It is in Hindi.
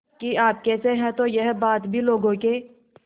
कि आप कैसे हैं तो यह बात भी लोगों के